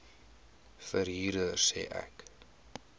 verhuurder sê ek